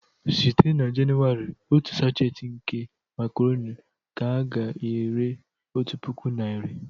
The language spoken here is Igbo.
Site na Jenụwarị otu sachet nke makaroni ka a ga-ere otu puku naira